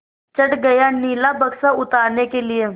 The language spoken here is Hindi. चढ़ गया नीला बक्सा उतारने के लिए